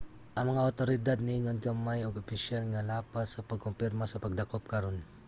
ang mga awtoridad niingon gamay og opisyal nga lapas sa pagkumpirma sa pagdakop karon